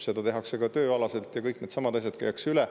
Seda tehakse ka tööalaselt ja kõik needsamad asjad käiakse üle.